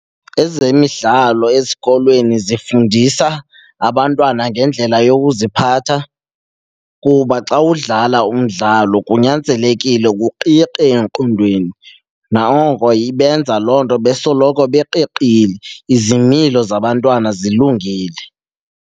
Ezemidlalo esikolweni zifundisa abantwana ngendlela yokuziphatha kuba xa udlala umdlalo kunyanzelekile uqiqe engqondweni. Noko ibenza loo nto besoloko beqiqile, izimilo zabantwana zilungile.